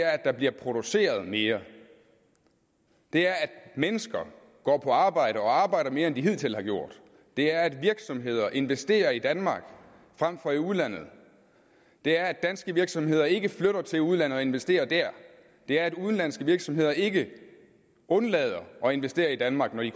at der bliver produceret mere det er at mennesker går på arbejde og arbejder mere end de hidtil har gjort det er at virksomheder investerer i danmark frem for i udlandet det er at danske virksomheder ikke flytter til udlandet og investerer der det er at udenlandske virksomheder ikke undlader at investere i danmark når de